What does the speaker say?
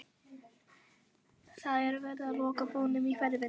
Það er verið að loka búðunum í hverfinu.